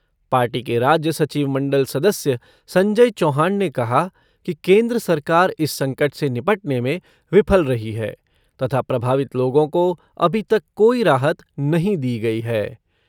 Party के राज्य सचिव मंडल सदस्य संजय चौहान ने कहा कि केंद्र सरकार इस संकट से निपटने में विफल रही है तथा प्रभावित लोगों को अभी तक कोई राहत नहीं दी गई है।